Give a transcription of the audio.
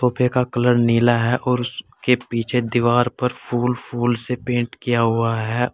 सोफे का कलर नीला है और उसके पीछे दीवार पर फूल फूल से पेंट किया हुआ है।